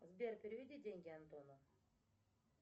сбер переведи деньги антону